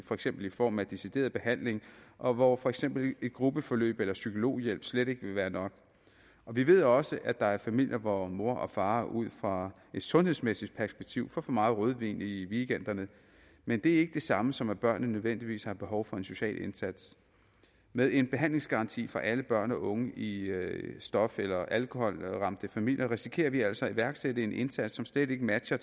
for eksempel i form af decideret behandling og hvor for eksempel et gruppeforløb eller psykologhjælp slet ikke vil være nok vi ved også at der er familier hvor mor og far ud fra et sundhedsmæssigt perspektiv får for meget rødvin i weekenderne men det er ikke det samme som at børnene nødvendigvis har behov for en social indsats med en behandlingsgaranti for alle børn og unge i stof eller alkoholramte familier risikerer vi altså at iværksætte en indsats som slet ikke matcher